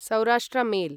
Saurashtra mail